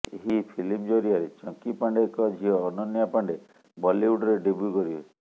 ଏହି ଫିଲ୍ମ ଜରିଆରେ ଚଙ୍କିପାଣ୍ଡେଙ୍କ ଝିଅ ଅନନ୍ୟା ପାଣ୍ଡେ ବଲିଉଡରେ ଡେବ୍ୟୁ କରିବେ